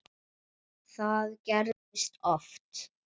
Það gerist oft.